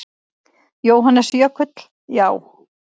Jóhannes Jökull: Já.